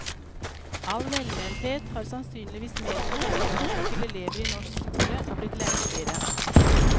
All velmenthet har sannsynligvis medført at kravene til elever i norsk skole er blitt lempeligere.